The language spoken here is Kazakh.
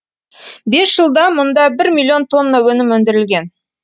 бес жылда мұнда бір миллион тонна өнім өндірілген